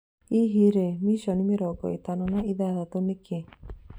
Hihi rĩ "Mission 56" nĩkĩ?